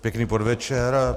Pěkný podvečer.